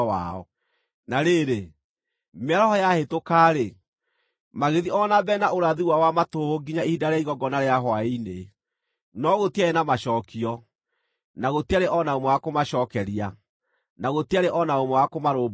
Na rĩrĩ, mĩaraho yahĩtũka-rĩ, magĩthiĩ o na mbere na ũrathi wao wa matũhũhũ nginya ihinda rĩa igongona rĩa hwaĩ-inĩ. No gũtiarĩ na macookio, na gũtiarĩ o na ũmwe wa kũmacookeria, na gũtiarĩ o na ũmwe wa kũmarũmbũiya.